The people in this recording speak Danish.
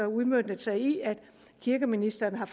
udmøntet sig i at kirkeministeren har